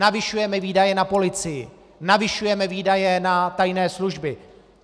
Navyšujeme výdaje na policii, navyšujeme výdaje na tajné služby.